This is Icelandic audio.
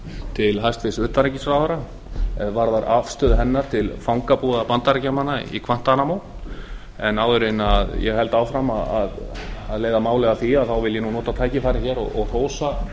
til hæstvirts utanríkisráðherra er varðar afstöðu hennar til fangabúða bandaríkjamanna í guantanamo en áður en ég held áfram að leiða málið að því vil ég nota tækifærið hér og hrósa